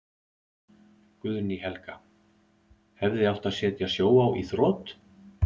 Guðný Helga: Hefði átt að setja Sjóvá í þrot?